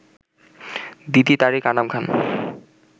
Diti, Tariq Anam Khan